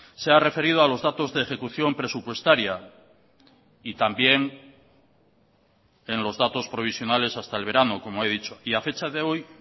se ha referido a los datos de ejecución presupuestaria y también en los datos provisionales hasta el verano como he dicho y a fecha de hoy